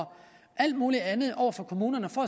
alt muligt andet over for kommunerne for